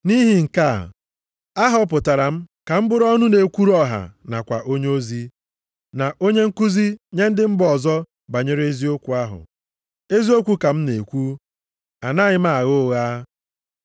Nʼihi nke a, a họpụtara m ka m bụrụ ọnụ na-ekwuru ọha nakwa onyeozi, na onye nkuzi nye ndị mba ọzọ banyere ezi okwukwe ahụ. Eziokwu ka m na-ekwu, anaghị m agha ụgha.